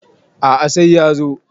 A`a sai ya zo